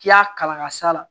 K'i y'a kala ka s'a la